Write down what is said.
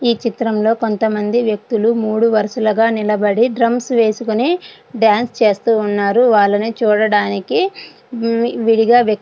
ఈ చిత్రంలో కొంతమంది వ్యక్తులు మూడు వరుసులుగా నిలబడి డ్రమ్స్ వేసుకొని డాన్స్ చేస్తూ ఉన్నారు వాళ్ళని చూడడానికి వి విడిగా వ్య --